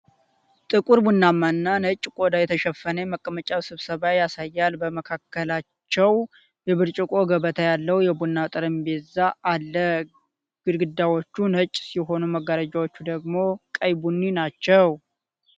ጥቁር ቡናማ እና ነጭ ቆዳ የተሸፈነ የመቀመጫ ስብስብ ያሳያል። በመካከላቸው የብርጭቆ ገበታ ያለው የቡና ጠረጴዛ አለ። ግድግዳዎቹ ነጭ ሲሆኑ መጋረጃዎቹ ደግሞ ቀይ ቡኒ ናቸው።